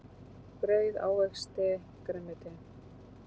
Brauð ávexti grænmeti.